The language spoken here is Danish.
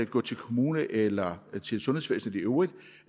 gå til kommunen eller til sundhedsvæsenet i øvrigt